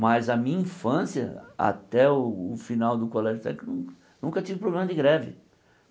Mas a minha infância, até o final do colégio técnico, nunca tive problema de greve.